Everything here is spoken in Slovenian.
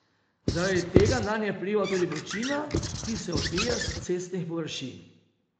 Zaradi tega nanje vpliva tudi vročina, ki se odbija s cestnih površin.